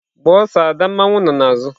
Gbaa ada ọsọ mmawu nọ n'azụ!.